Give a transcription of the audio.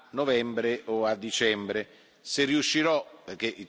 votare o a novembre o a dicembre.